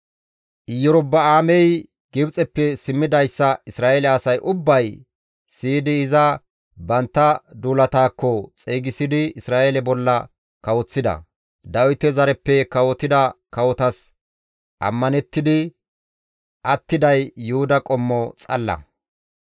Iyorba7aamey Gibxeppe simmidayssa Isra7eele asay ubbay siyidi iza bantta duulataakko xeygisidi Isra7eele bolla kawoththida; Dawite zareppe kawotida kawotas ammanettidi attiday Yuhuda qommo xalla.